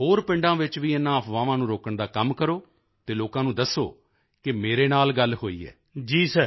ਹੋਰ ਪਿੰਡਾਂ ਵਿੱਚ ਵੀ ਇਨ੍ਹਾਂ ਅਫ਼ਵਾਹਾਂ ਨੂੰ ਰੋਕਣ ਦਾ ਕੰਮ ਕਰੋ ਤੇ ਲੋਕਾਂ ਨੂੰ ਦੱਸੋ ਕਿ ਮੇਰੇ ਨਾਲ ਗੱਲ ਹੋਈ ਹੈ